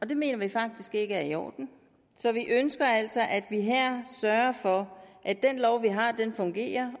det mener vi faktisk ikke er i orden så vi ønsker altså at man her sørger for at den lov vi har fungerer